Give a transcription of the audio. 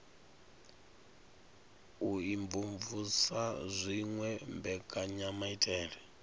u imvumvusa na dziwe mbekanyamaitele